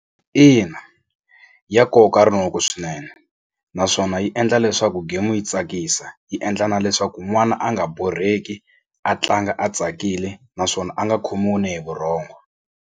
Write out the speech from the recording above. Ina ya koka rinoko swinene naswona yi endla leswaku game yi tsakisa yi endla na leswaku n'wana a nga borheki a tlanga a tsakile naswona a nga khomiwi ni hi vurhongo.